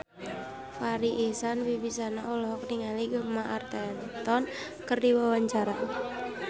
Farri Icksan Wibisana olohok ningali Gemma Arterton keur diwawancara